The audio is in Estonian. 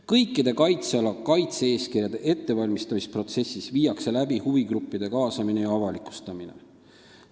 " Kõikide kaitsealade kaitse-eeskirjade ettevalmistamisprotsessis toimub huvigruppide kaasamine ja avalikustamine.